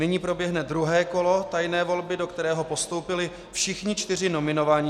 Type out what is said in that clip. Nyní proběhne druhé kolo tajné volby, do kterého postoupili všichni čtyři nominovaní.